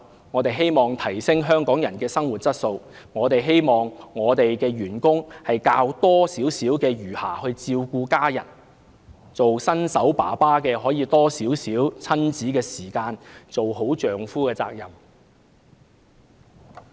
我們希望提升香港人的生活質素，我們希望員工有較多餘暇照顧家人，新手父親可以有多一些親子時間，一盡丈夫的責任。